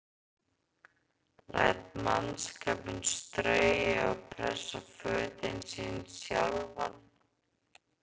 Læt mannskapinn strauja og pressa fötin sín sjálfan.